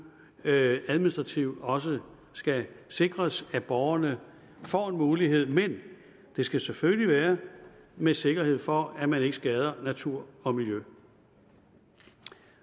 administrativt også skal sikres at borgerne får den mulighed men det skal selvfølgelig være med sikkerhed for at man ikke skader natur og miljø